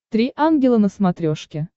три ангела на смотрешке